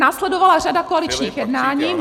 Následovala řada koaličních jednání.